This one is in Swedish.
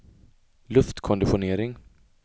luftkonditionering